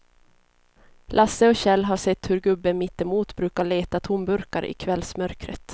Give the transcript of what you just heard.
Lasse och Kjell har sett hur gubben mittemot brukar leta tomburkar i kvällsmörkret.